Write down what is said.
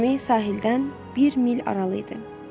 Gəmi sahildən bir mil aralı idi.